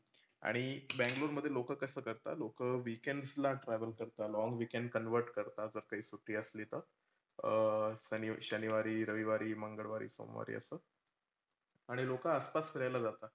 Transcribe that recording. आणि बँगलोर मध्ये लोकं कसं करतात? लोकं weekends ला travel करतात. long weekend convert करता, जर काही सुट्टी असली तर अह शनि शनिवारी, रविवारी, मंगळवारी, सोमवारी असं आणि लोकं आसपास फिरायला जातात.